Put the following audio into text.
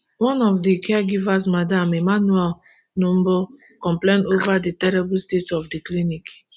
one of di caregivers madam emmanuel numbur complain over di terrible state of di clinic